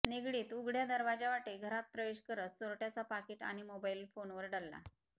निगडीत उघड्या दरवाज्यावाटे घरात प्रवेश करत चोरट्याचा पाकीट आणि मोबाईल फोनवर डल्ला